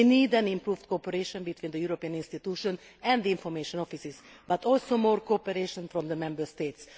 We need improved cooperation between the European institutions and the Information Offices but also more cooperation from the Member States.